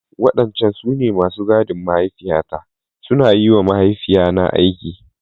Wadancan su ne masu gadin mahaifiyata, suna yi wa mahaifina aiki.